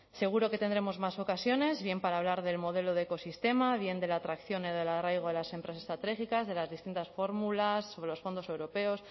seguro que tendremos más ocasiones bien para hablar del modelo de ecosistema bien de la atracción y del arraigo de las empresas estratégicas de las distintas fórmulas sobre los fondos europeos